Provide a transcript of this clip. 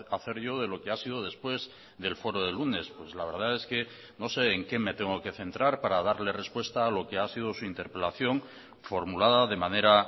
hacer yo de lo que ha sido después del foro del lunes pues la verdad es que no sé en qué me tengo que centrar para darle respuesta a lo que ha sido su interpelación formulada de manera